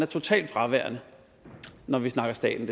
totalt fraværende når vi snakker staten